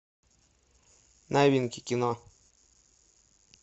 новинки кино